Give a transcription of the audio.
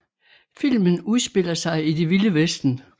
Filmen udspiller sig i det vilde vesten